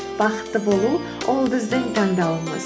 бақытты болу ол біздің таңдауымыз